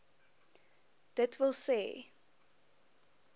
d w s